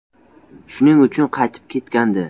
Shuning uchun qaytib ketgandi.